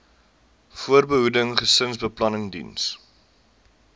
voorbehoeding gesinsbeplanning diens